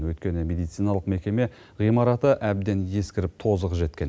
өйткені медициналық мекеме ғимараты әбден ескіріп тозығы жеткен